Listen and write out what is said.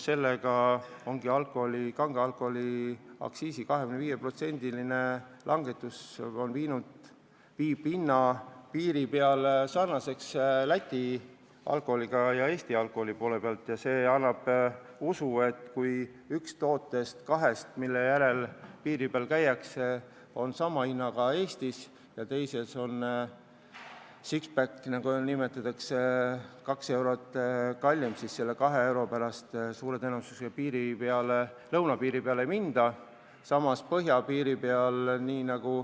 Kange alkoholi aktsiisi 25%-ne langetus viib hinna samaks kui Läti alkoholil ja see annab aluse uskuda, et kui üks kahest tootest, mille järel piiri taga käiakse, on sama hinnaga kui Eestis ja teine ehk six-pack on meil vaid 2 eurot kallim, siis selle 2 euro pärast suure tõenäosusega lõunapiirile ei sõideta.